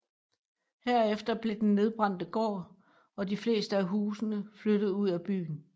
Herefter blev den nedbrændte gård og de fleste af husene flyttet ud af byen